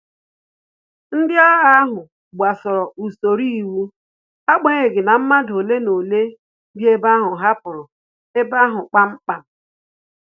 Ndị agha ahu gbasoro usoro iwu, agbanyeghi na madu ole na ole bi ebe ahụ hapụrụ ebe ahu kpam kpam